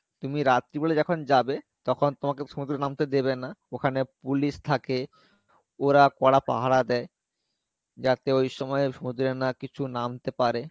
তুমি রাত্রি বেলা যখন যাবে তখন তোমাকে সমুদ্রে নামতে দেবে না ওখানে police থাকে ওরা করা পাহারা দেই যাতে ওই সময়ে সমুদ্রে না কিছু নামতে পারে,